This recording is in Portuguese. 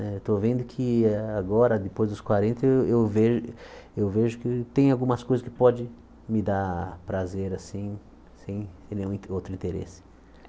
Né estou vendo que agora, depois dos quarenta, eu eu ve eu vejo que tem algumas coisas que pode me dar prazer assim sem nenhum outro interesse.